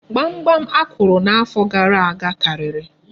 Gbamgbam akụrụ n'afọ gara aga karịrị.